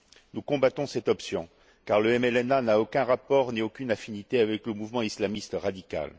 Nous combattons cette option car le MLNA n'a aucun rapport ni aucune affinité avec le mouvement islamiste radical.